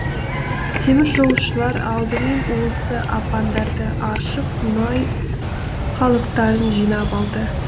теміржолшылар алдымен осы апандарды аршып мұнай қалдықтарын жинап алды